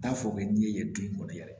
T'a fɔ k'i n'i ye den kɔni yɛrɛ